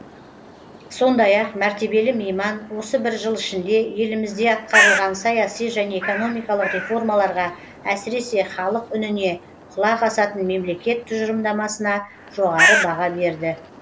сондай ақ мәртебелі мейман осы бір жыл ішінде елімізде атқарылған саяси және экономикалық реформаларға әсіресе халық үніне құлақ асатын мемлекет тұжырымдамасына жоғары баға берді